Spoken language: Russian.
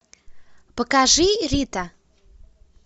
покажи рита